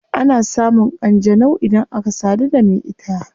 Ana samun kanjanau idan aka sadu da me ita